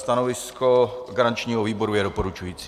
Stanovisko garančního výboru je doporučující.